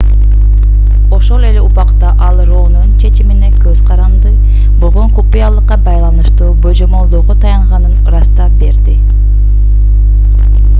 ошол эле убакта ал роунун чечимине көз каранды болгон купуялыкка байланыштуу божомолдоого таянганын ырастап берди